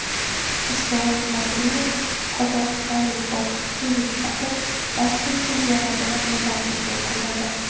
Isroil Madrimov qozog‘istonlik bokschiga yutqazib, Osiyo chempionatini medalsiz yakunladi .